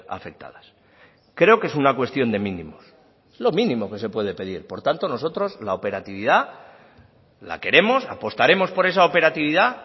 afectadas creo que es una cuestión de mínimos es lo mínimo que se puede pedir por tanto nosotros la operatividad la queremos apostaremos por esa operatividad